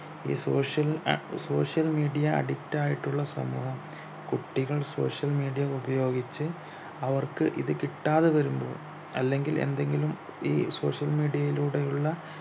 ഈ social ah social mediaaddict ആയിട്ടുള്ള സമൂഹം കുട്ടികൾ social media ഉപയോഗിച്ച് അവർക്ക് ഇത് കിട്ടാതെ വരുമ്പോ അല്ലെങ്കിൽ എന്തെങ്കിലും ഈ social media യിലൂടെയുള്ള